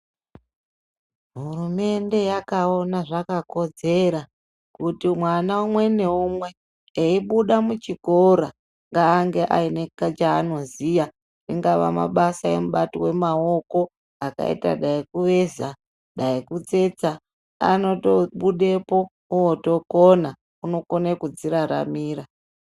Hurumende yakaona zvakakodzera kuti mwana umwe naumwe eibude muchikora ngaange aine chaanoziya, ingava mabasa emaoko akaita dani kuveza, dani kutsetsa, unotobudepo otokona, unokone kudziraramira.